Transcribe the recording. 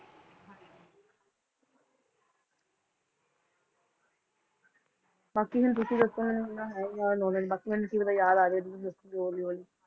ਬਾਕੀ ਹੁਣ ਤੁਸੀਂ ਦੱਸੋ ਮੈਨੂੰ ਇੰਨਾ ਹੈ ਨੀ ਜ਼ਿਆਦਾ knowledge ਬਾਕੀ ਮੈਨੂੰ ਕੀ ਪਤਾ ਯਾਦ ਆ ਜਾਏ ਤੁਸੀਂ ਦੱਸੋਂਗੇ ਹੌਲੀ ਹੌਲੀ